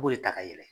U b'o de ta ka yɛlɛ